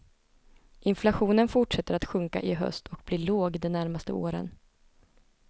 Inflationen fortsätter att sjunka i höst och blir låg de närmaste åren.